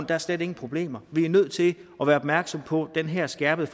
der slet ingen problemer vi er nødt til at være opmærksom på den her skærpede